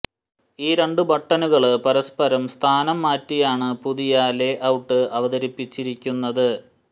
ഈ രണ്ട് ബട്ടനുകള് പരസ്പരം സ്ഥാനം മാറ്റിയാണ് പുതിയ ലേ ഔട്ട് അവതരിപ്പിച്ചിരിക്കുന്നത്